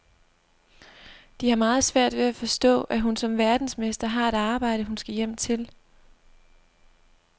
De har meget svært ved at forstå, at hun som verdensmester har et arbejde, hun skal hjem til.